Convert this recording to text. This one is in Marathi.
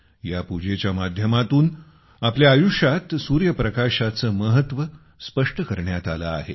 या पूजेच्या माध्यमातून आपल्या आयुष्यात सूर्यप्रकाशाचे महत्त्व स्पष्ट करण्यात आले आहे